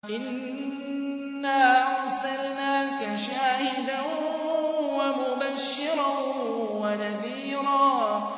إِنَّا أَرْسَلْنَاكَ شَاهِدًا وَمُبَشِّرًا وَنَذِيرًا